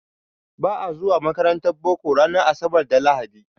Ba a zuwa makarantar boko ranar asabar da lahadi.